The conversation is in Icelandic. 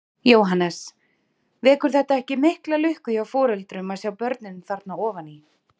Jóhannes: Vekur þetta ekki mikla lukku hjá foreldrum að sjá börnin þarna ofan í?